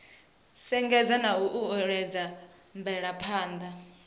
sengulusa na u uuwedza mvelaphana